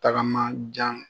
Tagama jan